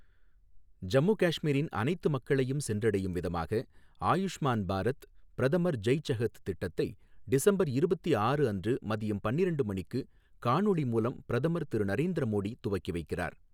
ஜம்மு காஷ்மீரின் அனைத்து மக்களையும் சென்றடையும் விதமாக, ஆயுஷ்மான் பாரத் பிரதமர் ஜெய் செஹத் திட்டத்தை டிசம்பர் இருபத்து ஆறு அன்று மதியம் பன்னிரண்டு மணிக்கு காணொலி மூலம் பிரதமர் திரு நரேந்திர மோடி துவக்கி வைக்கிறார்.